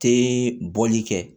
Te bɔli kɛ